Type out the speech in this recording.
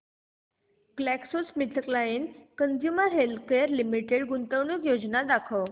GlaxoSmithKline consumer healthcare limited गुंतवणूक योजना दाखव